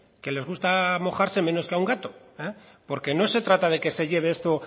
que les gusta mojarse menos que a un gato porque no se trata que se lleve esto